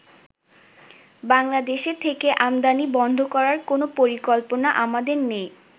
বাংলাদেশে থেকে আমদানি বন্ধ করার কোন পরিকল্পনা আমাদের নেই।